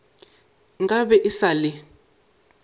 nka be e sa le